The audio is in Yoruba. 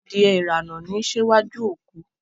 Adìẹ irana ni n síwájú òkú